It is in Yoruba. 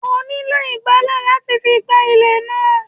ó nílo ígbalẹ̀ latí fí gbá ilé náà